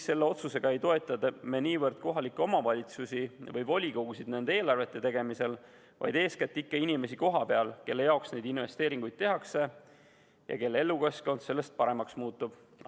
Selle otsusega ei toeta me niivõrd kohalikke omavalitsusi või volikogusid eelarvete tegemisel, vaid eeskätt ikka inimesi kohapeal, kelle jaoks neid investeeringuid tehakse ja kelle elukeskkond sellest paremaks muutub.